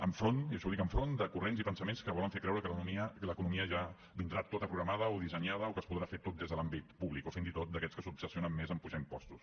enfront i això ho dic enfront de corrents i pensaments que volen fer creure que l’economia ja vindrà tota programada o dissenyada o que es podrà fer tot des de l’àmbit públic o fins i tot d’aquests que s’obsessionen més a apujar impostos